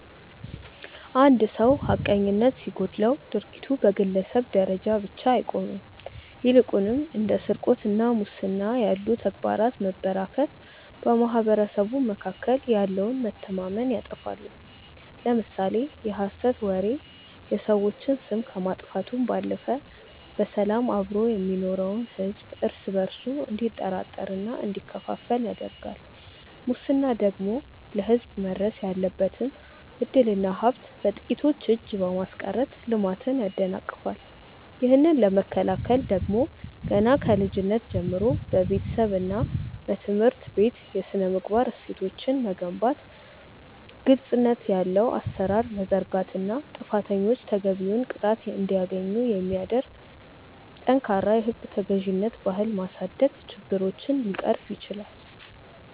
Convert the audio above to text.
አንድ ሰው ሐቀኝነት ሲጎድለው ድርጊቱ በግለሰብ ደረጃ ብቻ አይቆምም ይልቁንም እንደ ስርቆትና ሙስና ያሉ ተግባራት መበራከት በማኅበረሰቡ መካከል ያለውን መተማመን ያጠፋሉ። ለምሳሌ የሐሰት ወሬ የሰዎችን ስም ከማጥፋቱም ባለፈ በሰላም አብሮ የሚኖረውን ሕዝብ እርስ በእርሱ እንዲጠራጠርና እንዲከፋፈል ያደርጋል ሙስና ደግሞ ለሕዝብ መድረስ ያለበትን ዕድልና ሀብት በጥቂቶች እጅ በማስቀረት ልማትን ያደናቅፋል። ይህንን ለመከላከል ደግሞ ገና ከልጅነት ጀምሮ በቤተሰብና በትምህርት ቤት የሥነ-ምግባር እሴቶችን መገንባት ግልጽነት ያለው አሠራር መዘርጋትና ጥፋተኞች ተገቢውን ቅጣት እንዲያገኙ የሚያደርግ ጠንካራ የሕግ ተገዥነት ባህል ማሳደግ ችግሮችን ሊቀርፍ ይችላል።